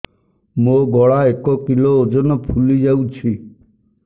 ମୋ ଗଳା ଏକ କିଲୋ ଓଜନ ଫୁଲି ଯାଉଛି